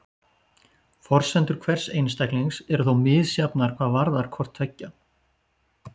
Forsendur hvers einstaklings eru þó misjafnar hvað varðar hvort tveggja.